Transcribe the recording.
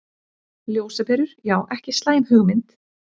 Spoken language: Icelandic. Ljósaperur, já ekki slæm hugmynd.